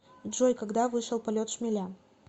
джой когда вышел полет шмеля